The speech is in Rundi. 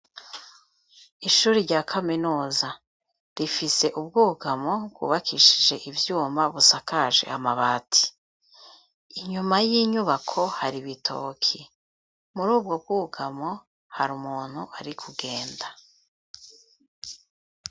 Ishuri rya kaminuza rifise ubwugamo bwubakishije ivyuma ,busakaje amabati ,inyuma y'inyubako har’ibitoki ,muri ubwo bwugamo hari umuntu ari kugenda.